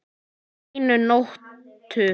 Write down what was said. Á einni nóttu!